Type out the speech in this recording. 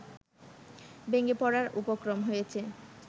ভেঙে পড়ার উপক্রম হয়েছে